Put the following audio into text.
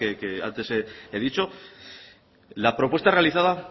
que antes he dicho la propuesta realiza